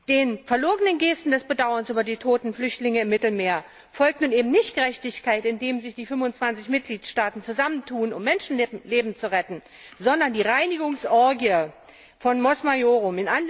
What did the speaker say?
Den verlogenen Gesten des Bedauerns über die toten Flüchtlinge im Mittelmeer folgt nun eben nicht Gerechtigkeit, indem sich die 25 Mitgliedstaaten zusammentun, um Menschenleben zu retten, sondern die Reinigungsorgie von Mos Maiorum.